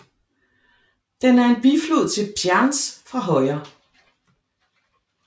Den er en biflod til Pjandzj fra højre